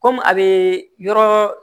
Kɔmi a bɛ yɔrɔ